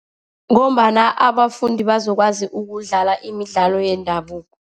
Ngombana abafundi bazokwazi ukudlala imidlalo yendabuko.